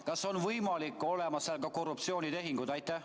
Kas on võimalik, et mängus on korruptsioonitehingud?